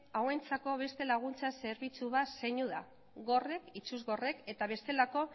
hauentzako beste laguntza zerbitzu bat seinu da gorrek itsugorrek eta bestelako